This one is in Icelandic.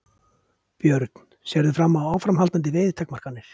Björn: Sérðu fram á áframhaldandi veiðitakmarkanir?